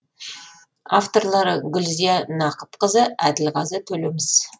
авторлары гүлзия нақыпқызы әділғазы төлеміс